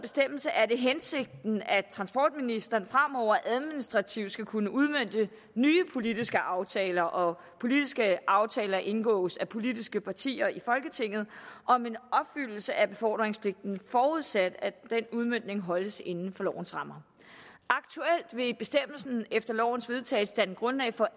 er det hensigten at transportministeren fremover administrativt skal kunne udmønte nye politiske aftaler og politiske aftaler indgås af politiske partier i folketinget om en opfyldelse af befordringspligten forudsat at den udmøntning holdes inden for lovens rammer aktuelt vil bestemmelsen efter lovens vedtagelse danne grundlag for